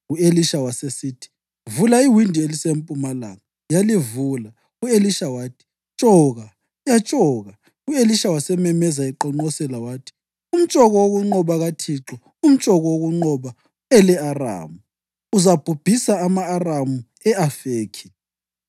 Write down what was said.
U-Elisha wasesithi, “Vula iwindi elisempumalanga.” Yalivula, u-Elisha wathi, “Tshoka!” Yatshoka. U-Elisha wasememeza eqonqosela wathi, “Umtshoko wokunqoba kaThixo, umtshoko wokunqoba ele-Aramu! Uzabhubhisa ama-Aramu e-Afekhi.”